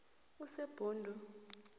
usebhundu